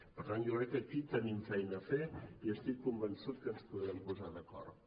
per tant jo crec que aquí tenim feina a fer i estic convençut que ens podrem posar d’acord